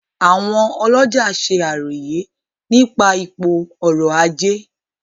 Àwọn olọ́jà se àròyé nípa ipò ọrọ́-ajé.